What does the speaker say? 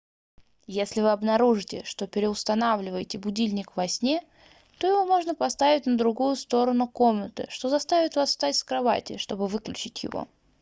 если вы обнаружите что переустанавливаете будильник во сне то его можно поставить на другую сторону комнаты что заставит вас встать с кровати чтобы выключить его